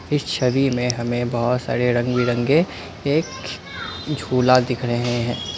इस छवि में हमें बहुत सारे रंग बिरंगे एक झूला दिख रहे हैं।